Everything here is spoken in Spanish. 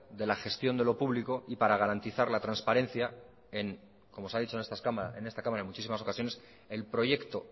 de la gestión de lo público y para garantizar la transparencia en como se ha dicho en esta cámara y en muchísimas ocasiones el proyecto